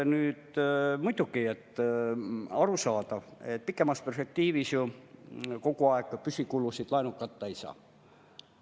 Muidugi on arusaadav, et pikemas perspektiivis kogu aeg püsikulusid laenuga katta ei saa.